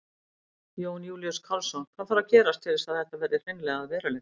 Jón Júlíus Karlsson: Hvað þarf að gerast til þess að þetta verði hreinlega að veruleika?